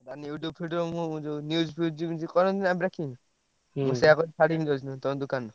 କାଇଁ YouTube video ମୁଁ news ଫିଉଜ୍ ଯେମିତି କରନ୍ତିନି breaking ମୁଁ ସେଇଆ କରି ଛାଡ଼ିବି ତମ ଦୋକାନେ।